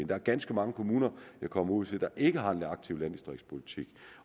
der er ganske mange kommuner jeg kommer ud til der ikke har en aktiv landdistriktspolitik